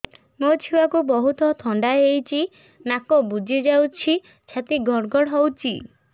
ମୋ ଛୁଆକୁ ବହୁତ ଥଣ୍ଡା ହେଇଚି ନାକ ବୁଜି ଯାଉଛି ଛାତି ଘଡ ଘଡ ହଉଚି